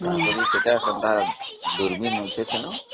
ସେଠି ସେ ପ୍ରକାର ଦୂରବୀକ୍ଷଣ ଅଛି